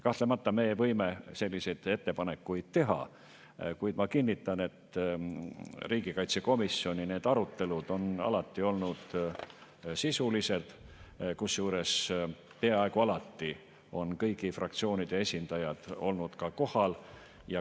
Kahtlemata, meie võime selliseid ettepanekuid teha, kuid ma kinnitan, et riigikaitsekomisjoni need arutelud on alati olnud sisulised, kusjuures peaaegu alati on kõigi fraktsioonide esindajad olnud kohal.